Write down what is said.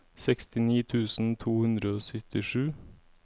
sekstini tusen to hundre og syttisju